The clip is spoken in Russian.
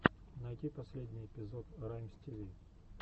найти последний эпизод раймстиви